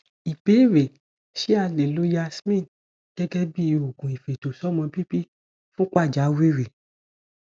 ìbéèrè ṣé a lè lo yasmin gẹgẹ bí oògùn ifetosomo bibi fun pajawiri